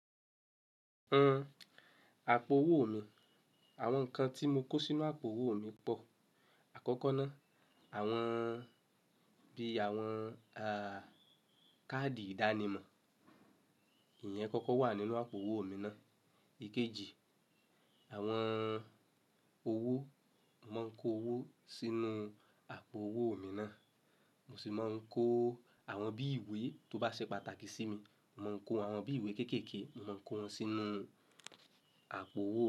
Àpò owó mi, àwọn nǹkan tí mo kó sínú àpò owó mi pọ̀. Àkọ́kọ́ náà, àwọn bí i àwọn a, káàdì ìdánimọ̀, ìyẹn kọ́kọ́ wà nínú àpò owó mi náà. Ikeji, àwọn owó, mo mò ń kó owó sínú àpò owó mi náà. Mo sì mọ ń kó àwọn bí ìwé tó bá ṣe pàtàkì sí mi, mo mò ń kó àwọn bí ìwé kéékèèké, mò ń kó wọn sínú àpò owó mi.